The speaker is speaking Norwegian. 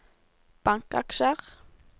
bankaksjer